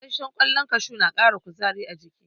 Gasashshen kwallon kashu na kara kuzari a jiki